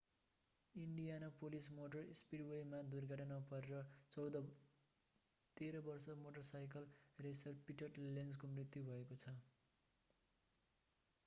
Indianapolis motor स्पिडवेमा दुर्घटनामा परेर 13 वर्षे मोटरसाइकल रेसर पिटर लेन्जको मृत्यु भएको छ